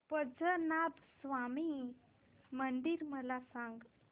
पद्मनाभ स्वामी मंदिर मला सांग